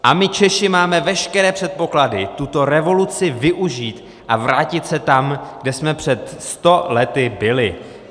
A my Češi máme veškeré předpoklady tuto revoluci využít a vrátit se tam, kde jsme před sto lety byli.